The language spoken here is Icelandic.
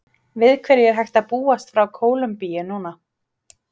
Við hverju er hægt að búast frá Kólumbíu núna?